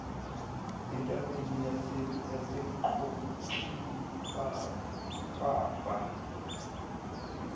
entabeni yaseqokli kwafa